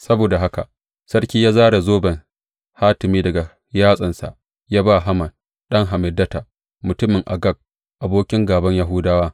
Saboda haka sarki ya zare zoben hatimi daga yatsarsa, ya ba wa Haman ɗan Hammedata, mutumin Agag, abokin gāban Yahudawa.